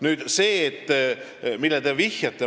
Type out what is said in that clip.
Nüüd sellest, millele te vihjate.